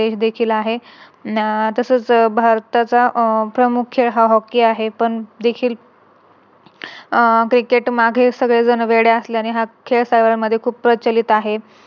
देश देखील आहे. अह तसच भारताचा मुख्य हा Hockey आहे पण देखील अह Cricket मागे सगळ्यांना वेड असल्याने हा खेळ भारतामध्ये खूप प्रचलित आहे.